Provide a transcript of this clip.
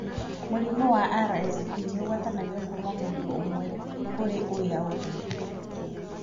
Mũrimũ wa RSV nĩ ũgwatanagio kuma mũndũ ũmwe kũrĩ ũrĩa ũngĩ.